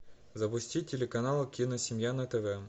запусти телеканал киносемья на тв